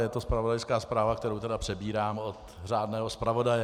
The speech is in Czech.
Je to zpravodajská zpráva, kterou tedy přebírám od řádného zpravodaje.